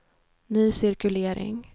ny cirkulering